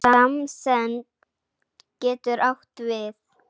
Samsemd getur átt við